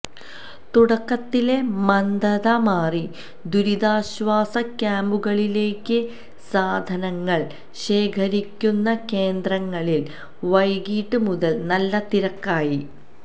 തുടക്കത്തിലെ മന്ദത മാറി ദുരിതാശ്വാസ ക്യാമ്പുകളിലേക്ക് സാധനങ്ങൾ ശേഖരിക്കുന്ന കേന്ദ്രങ്ങളിൽ വൈകീട്ട് മുതൽ നല്ല തിരക്കായി